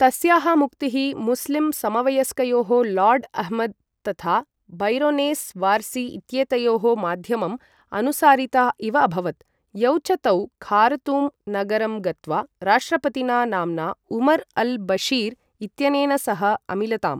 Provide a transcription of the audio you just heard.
तस्याः मुक्तिः मुस्लिम् समवयस्कयोः लार्ड् अह्मद् तथा बैरोनेस् वारसी इत्येतयोः माध्यमम् अनुसारिता इव अभवत्, यौ च तौ खारतूम् नगरं गत्वा राष्ट्रपतिना नाम्ना उमर् अल् बशीर् इत्यनेन सह अमिलताम्।